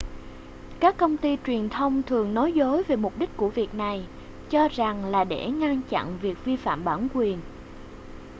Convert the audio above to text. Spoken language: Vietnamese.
các công ty truyền thông thường nói dối về mục đích của việc này cho rằng là để ngăn chăn việc vi phạm bản quyền